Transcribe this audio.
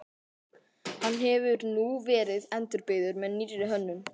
Hann hefur nú verið endurbyggður með nýrri hönnun.